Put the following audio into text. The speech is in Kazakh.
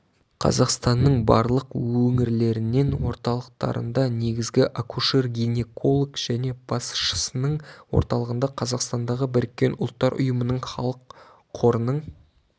қазақстанның барлық өңірлерінен орталықтарында негізгі акушер гинеколог және басшысының орталығында қазақстандағы біріккен ұлттар ұйымының халық қорының